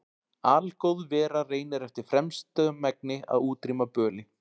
Algóð vera reynir eftir fremsta megni að útrýma böli.